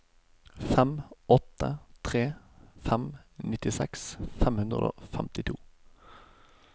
fem åtte tre fem nittiseks fem hundre og femtito